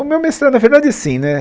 O meu mestrado, na verdade, sim né.